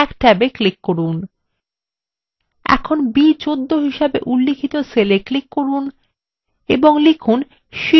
এখানে b14 হিসেবে উল্লিখিত cellএ click করুন এবং লিখুন শীট 2